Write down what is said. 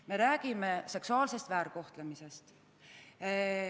Me räägime seksuaalsest väärkohtlemisest.